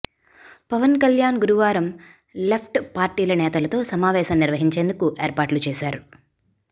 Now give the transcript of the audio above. పవన్ కల్యాణ్ గురువారం లెఫ్ట్ పార్టీల నేతలతో సమావేశం నిర్వహించేందుకు ఏర్పాట్లు చేశారు